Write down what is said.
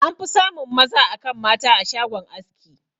An fi samun maza akan mata a shagon aski.